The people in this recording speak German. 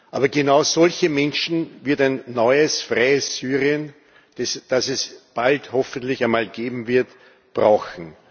Aber genau solche Menschen wird ein neues, freies Syrien, das es bald hoffentlich einmal geben wird, brauchen.